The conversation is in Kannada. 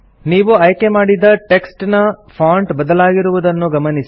ನೀವು ಆಯ್ಕೆ ಮಾಡಿದ ಟೆಕ್ಸ್ಟ್ ನ ಫಾಂಟ್ ಬದಲಾಗಿರುವುದನ್ನು ಗಮನಿಸಿ